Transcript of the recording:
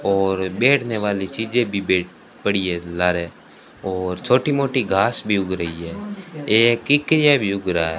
और बैठने वाली चीजे भी बे पड़ी है ला रहे और छोटी मोटी घास भी उग रही है ये भी उग रहा --